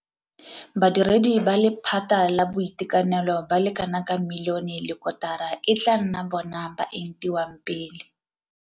Badiredi ba lephata la boitekanelo ba le kanaka milione le kotara e tla nna bona ba ba entiwang pele.